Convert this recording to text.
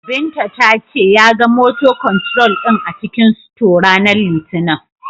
Binta ta ce, ya ga "motor control" din a cikin sito, ranar Litinin.